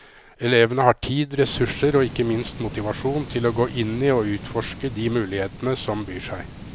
Elevene har tid, ressurser og ikke minst motivasjon til å gå inn i og utforske de mulighetene som byr seg.